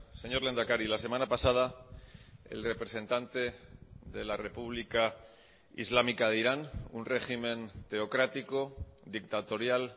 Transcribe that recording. señor lehendakari la semana pasada el representante de la republica islámica de irán un régimen teocrático dictatorial